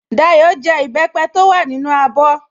Dayọ̀ jẹ ìbẹ́pẹ́ tó wà nínú abọ́